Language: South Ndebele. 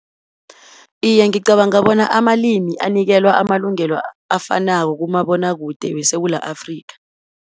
Iye, ngicabanga bona amalimi anikelwa amalungelo afanako kumabonakude weSewula Afrika.